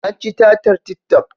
An ci tatar tik toc